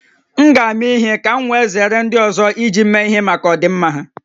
M ga-ama ihe ka m wee zere ndị ọzọ iji m mee ihe maka ọdịmma ha